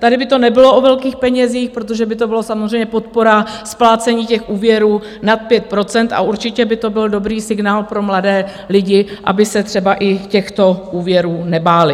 Tady by to nebylo o velkých penězích, protože by to byla samozřejmě podpora splácení těch úvěrů nad 5 %, a určitě by to bylo dobrý signál pro mladé lidi, aby se třeba i těchto úvěrů nebáli.